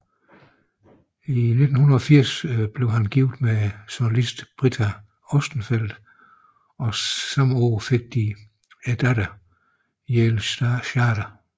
I 1980 blev han gift med jounalist Britta Ostenfeld og samme år fik de datteren Yael Schade